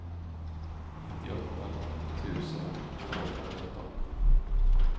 nittioåtta tusen tvåhundrasjutton